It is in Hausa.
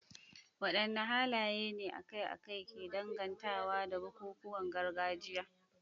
Wadanne halaye ne akai-akai ke dangantawa da bukukuwan gargajiya?